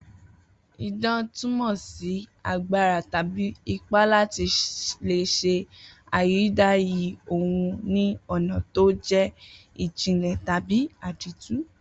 Idán túmò̩ sí agbára tàbí ipá láti lè s̩e ayídayì ohun ní ò̩nà tó jé̩ ìjìnlè̩ tàbí àdìtú